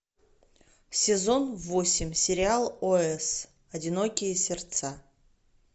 сезон восемь сериал ос одинокие сердца